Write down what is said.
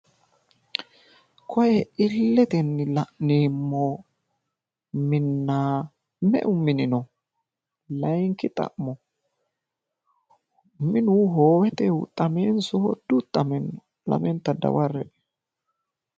Koye illetenni la'neemmo minna meu mini no? layiinki xa'mo minu hoowete huxxameenso dihuxxame? lamenta dawarre'e.